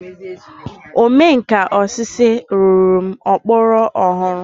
Ome nka osisi rụrụ m okpokoro ọhụrụ.